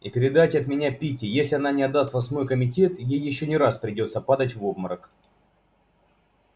и передайте от меня питти если она не отдаст вас в мой комитет ей ещё не раз придётся падать в обморок